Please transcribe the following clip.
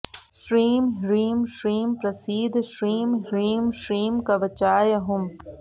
श्रीं ह्रीं श्रीं प्रसीद श्रीं ह्रीं श्रीं कवचाय हुम्